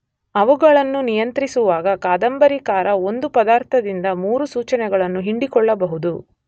ಅವುಗಳನ್ನು ನಿಯಂತ್ರಿಸುವಾಗ ಕಾದಂಬರಿಕಾರ ಒಂದು ಪದಾರ್ಥದಿಂದ ಮೂರು ಸೂಚನೆಗಳನ್ನು ಹಿಂಡಿಕೊಳ್ಳಬಹುದು.